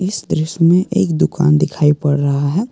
इस दृश्य में एक दुकान दिखाई पड़ रहा है।